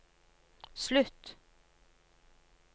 slutt